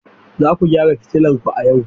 Za ku gyara fitilar ku a yau.